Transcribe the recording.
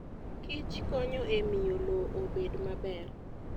kichkonyo e miyo lowo obed maber.